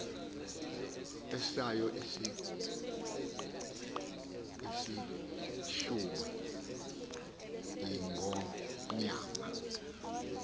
esayo isilchumba ingonyama